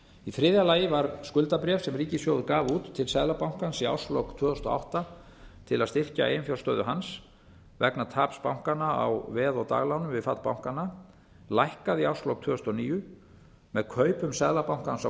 í þriðja lagi var skuldabréf sem ríkissjóður gaf út til seðlabanka í árslok tvö þúsund og átta til að styrkja eiginfjárstöðu hans vegna taps bankans á veð og daglánum við fall bankanna lækkað í árslok tvö þúsund og níu með kaupum seðlabankans á